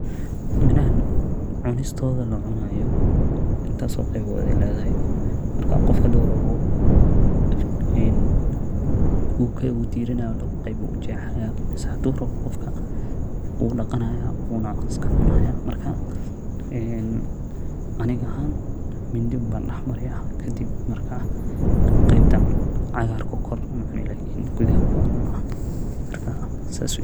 Miraxan cunistoda lcunayo, intas o qebod ay ledaxay, marka gofka xadurawo, ee wu dirinay labo geeb uu ujexaya, mise xadhu rawo gofka wudaqanaya wuna iskacunaya, matka ee ani axan mindi umban daxmariyakadib marka, qebtan cagarka kore bacuni lakin qudaxa umban cuna, marka sas weye.